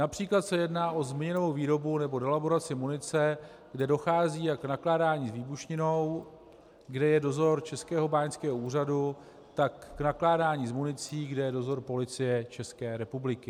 Například se jedná o zmíněnou výrobu nebo delaboraci munice, kde dochází jak k nakládání s výbušninou, kde je dozor Českého báňského úřadu, tak k nakládání s municí, kde je dozor Policie České republiky.